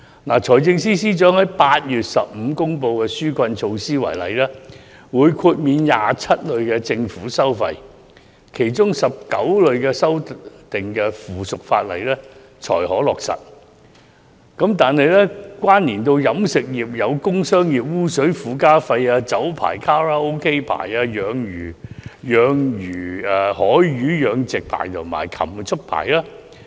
以財政司司長在8月15日公布的紓困措施為例，政府指會豁免27類政府收費，但其中19類須修訂附屬法例才可落實，關連到飲食業的有工商業污水附加費、酒牌、卡拉 OK 牌、海魚養殖牌及禽畜牌。